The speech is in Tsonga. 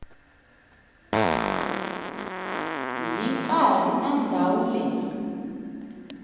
hi nkarhi na ndhawu leyi